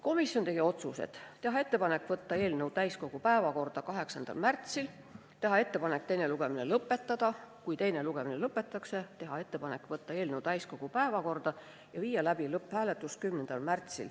Komisjon tegi järgmised otsused: teha ettepanek võtta eelnõu täiskogu päevakorda 8. märtsil, teha ettepanek teine lugemine lõpetada ja kui teine lugemine lõpetatakse, siis teha ettepanek võtta eelnõu 10. märtsil täiskogu päevakorda ja viia läbi lõpphääletus.